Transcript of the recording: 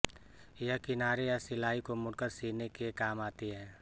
यह किनारे या सिलाई को मोड़कर सीने के काम आती है